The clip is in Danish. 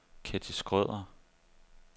Ketty Schrøder